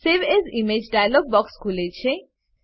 save as image dialog box ખુલે છે